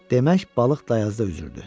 Demək balıq dayazda üzürdü.